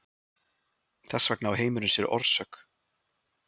Þess vegna á heimurinn sér orsök.